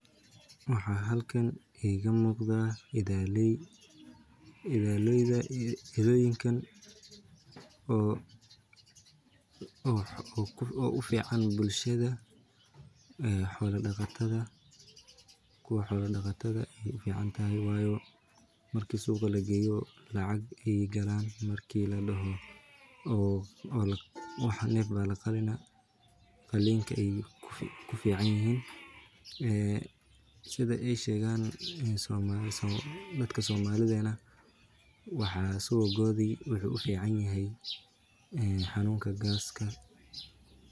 Waxaa halkan iiga muuqda idaley oo ufican bulshada xoola daqatada waayo marka suuqa lageeyo lacag ayeey galaan marka laqalo neh waay kufican yihiin subagooda wuxuu ufican yahay xanuunka gaska.